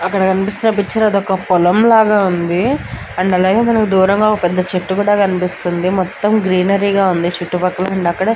అక్కడ కనిపిస్తున్న పిక్చర్ అదొక పొలం ల వుంది అండ్ అలాగే మనకు దూరంగ ఒక పెద్ద చెట్టు కనిపిస్తుంది మొత్తం గ్రీనరీ గ వుంది చుట్టుపక్కల అండ్ అక్కడ --